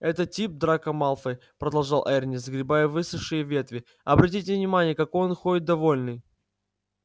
этот тип драко малфой продолжал эрни сгребая высохшие ветви обратите внимание какой он ходит довольный